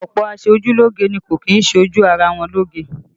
Ọ̀pọ̀ aṣojúlógé ni kò kì í ṣe ojú ara wọn lóge